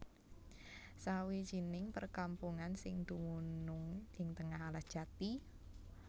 Sawijining perkampungan sing dumunung ing tengah alas jati